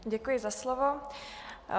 Děkuji za slovo.